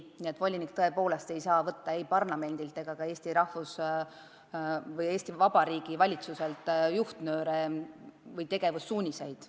Aga volinik tõepoolest ei saa võtta Eesti parlamendilt ega ka Eesti Vabariigi valitsuselt juhtnööre või tegevussuuniseid.